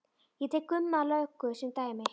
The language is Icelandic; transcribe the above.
Ég tek Gumma löggu sem dæmi.